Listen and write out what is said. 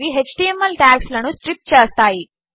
అనేవిHTML టాగ్స్లనుస్ట్రిప్చేస్తాయి